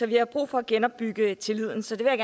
vi har brug for at genopbygge tilliden så jeg